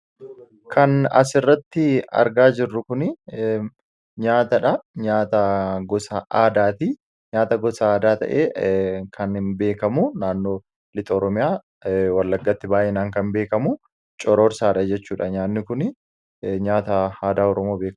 kan as irratti argaa jirru kun nyaata dha nyaata gosa aadaati nyaata gosa aadaa ta'ee kan hin beekamu naannoo liixa ooromiyaa wallaggatti baayyinaan kan beekamu cororsaa jechuudha nyaanni kun nyaata aada oromoo beekkamaadha.